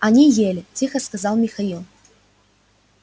они ели тихо сказал михаил